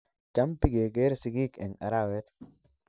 Cham bigegeere sigiik eng arawet